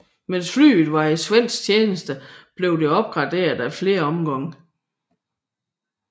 Mens flyet var i svensk tjeneste blev det opgraderet ad flere omgange